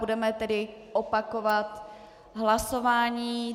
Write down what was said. Budeme tedy opakovat hlasování.